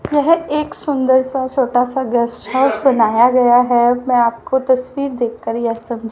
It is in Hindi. यह एक सुंदरसा छोटासा गेस्ट हाउस बनाया गया है। मैं आपको तस्वीर देख कर यह समझा--